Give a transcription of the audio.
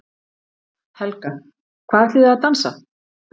Helga: Hvað ætlið þið að dansa?